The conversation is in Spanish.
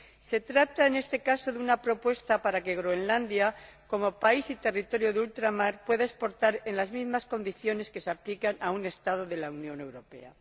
Se trata, en este caso, de una propuesta para que Groenlandia, como país y territorio de ultramar, pueda exportar en las mismas condiciones que se aplican a un Estado de la Unión Europea.